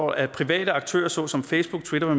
at private aktører såsom facebook twitter